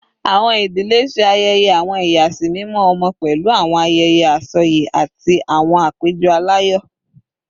Awọn idile ṣe ayẹyẹ awọn iyasimimọ ọmọ pẹlu awọn ayẹyẹ asọye ati awọn apejọ alayọ